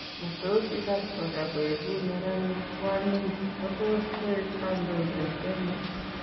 Matos ikas kora koeku neranik kwonyiik kotos koek kandoik en Kenya?